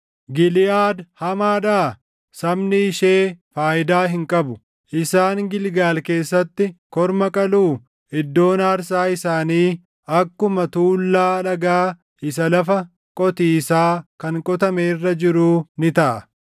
Giliʼaad hamaadhaa? Sabni ishee faayidaa hin qabu! Isaan Gilgaal keessatti korma qaluu? Iddoon aarsaa isaanii akkuma tuullaa dhagaa isa lafa qotiisaa kan qotame irra jiruu ni taʼa.